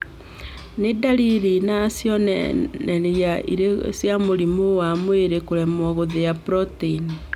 Nĩ ndariri na cionereria irĩkũ cia mũrimũ wa mwĩrĩ kũremwo gũthĩa proteini?